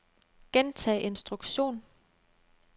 gentag instruktion